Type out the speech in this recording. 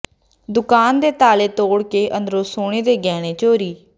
ਦੁਕਾਨ ਦੇ ਤਾਲੇ ਤੋੜ ਕੇ ਅੰਦਰੋ ਸੋਨੇ ਦੇ ਗਹਿਣੇ ਚੋਰੀ